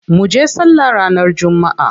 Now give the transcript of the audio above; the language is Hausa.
Munje sallah ranar jumma'a.